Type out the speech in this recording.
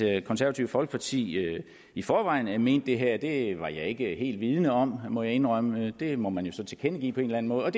det konservative folkeparti i forvejen mente det her det var jeg ikke helt vidende om må jeg indrømme det må man så tilkendegive på en måde